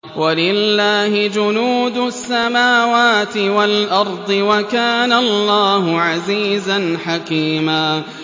وَلِلَّهِ جُنُودُ السَّمَاوَاتِ وَالْأَرْضِ ۚ وَكَانَ اللَّهُ عَزِيزًا حَكِيمًا